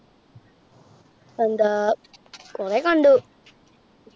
എന്താ~ കുറെ കണ്ടു.